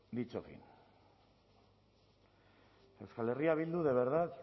dicho fin euskal herria bildu de verdad